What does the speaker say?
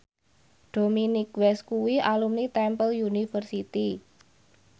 Dominic West kuwi alumni Temple University